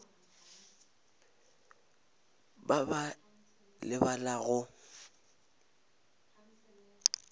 ba ba ba lebala go